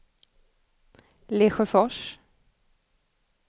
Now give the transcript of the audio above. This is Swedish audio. Lesjöfors